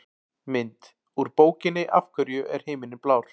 Mynd: Úr bókinni Af hverju er himinninn blár?